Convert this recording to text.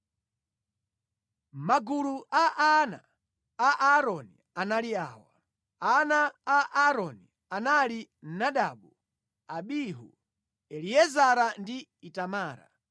Magulu a ana a Aaroni anali awa: Ana a Aaroni anali Nadabu, Abihu, Eliezara ndi Itamara.